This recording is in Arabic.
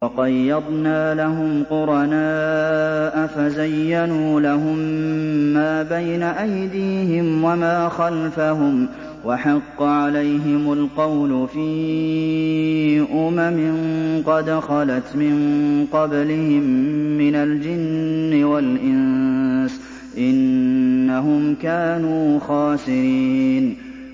۞ وَقَيَّضْنَا لَهُمْ قُرَنَاءَ فَزَيَّنُوا لَهُم مَّا بَيْنَ أَيْدِيهِمْ وَمَا خَلْفَهُمْ وَحَقَّ عَلَيْهِمُ الْقَوْلُ فِي أُمَمٍ قَدْ خَلَتْ مِن قَبْلِهِم مِّنَ الْجِنِّ وَالْإِنسِ ۖ إِنَّهُمْ كَانُوا خَاسِرِينَ